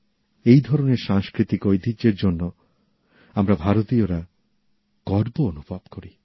এই ধরনের সাংস্কৃতিক ঐতিহ্যের জন্য আমরা ভারতীয়রা গর্ব অনুভব করি